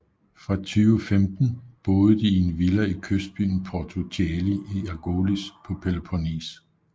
Fra 2015 boede de i en villa i kystbyen Porto Cheli i Argolis på Peloponnes